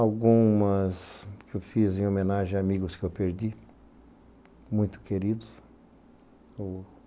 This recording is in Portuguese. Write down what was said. Algumas que eu fiz em homenagem a amigos que eu perdi, muito queridos.